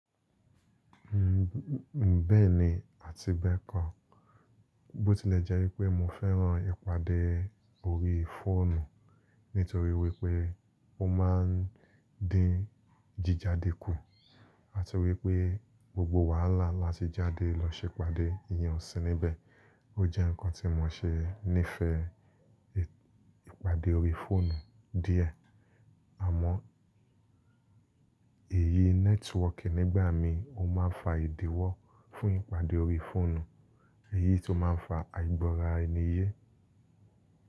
Ǹ bẹ́ẹ̀ni àti gbẹ́kàn. Bó ti lẹ̀ jẹ́ wípé mo fẹ́ràn ìpàdé orí fóònù nítorí wípé ó ma ń dín jíjáde kù àti wípé gbogbo wàhálà láti jáde lọ ṣèpàdé ìyẹn ò sí níbẹ̀. Ó jẹ́ ǹkan tí mo ṣe níìfẹ́ ìpàdé orí fóònù díẹ̀. Àmọ́ èyí nẹ́tíwọ́ọ̀kì nígbà míhìn ó máa ń fa ìdíwọ́ fún ìpàdé orí i fóònù, èyí tó má ń fa àìgbọ́ra-ẹni-yé.